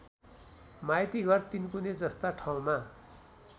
माइतीघर तीनकुने जस्ता ठाउँमा